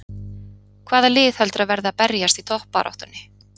Hvaða lið heldurðu að verði að berjast í toppbaráttunni?